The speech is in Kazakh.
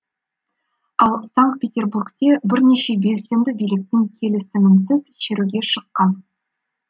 ал санкт петербургте бірнеше белсенді биліктің келісімінсіз шеруге шыққан